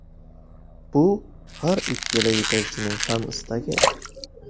Bu har ikkala yetakchining ham istagi.